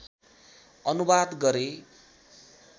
अनुवाद गरे